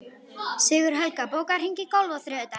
Sigurhelga, bókaðu hring í golf á þriðjudaginn.